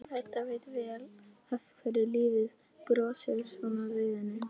Edda veit vel af hverju lífið brosir svona við henni.